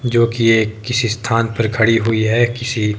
जो कि ये किसी स्थान पर खड़ी हुई है किसी--